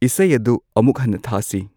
ꯏꯁꯩ ꯑꯗꯨ ꯑꯃꯨꯛ ꯍꯟꯅ ꯊꯥꯁꯤ